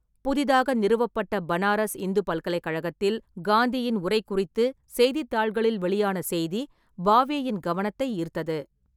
புதிதாக நிறுவப்பட்ட பனாரஸ் இந்து பல்கலைக்கழகத்தில் காந்தியின் உரை குறித்து செய்தித்தாள்களில் வெளியான செய்தி பாவேயின் கவனத்தை ஈர்த்தது.